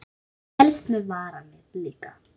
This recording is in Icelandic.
Helst með varalit líka.